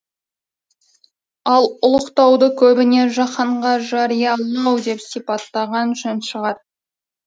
ал ұлықтауды көбіне жаһанға жариялау деп сипаттаған жөн шығар